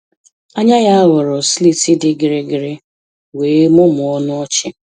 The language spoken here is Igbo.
Anya ya ghọrọ slits dị gịrịgịrị wee mụmụọ ọnụ ọchị.